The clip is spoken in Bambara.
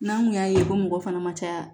N'an kun y'a ye ko mɔgɔ fana ma caya